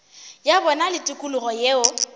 ya bona le tikologo yeo